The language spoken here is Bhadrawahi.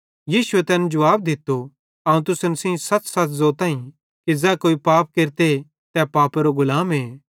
यीशुए तैन जुवाब दित्तो अवं तुसन सेइं सच़सच़ ज़ोताईं कि ज़ै कोई पाप केरते तै पापेरो गुलामे